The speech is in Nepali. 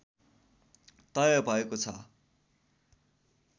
तय भएको छ